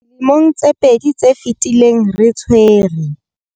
Dilemong tse pedi tse fetileng, re tshwere.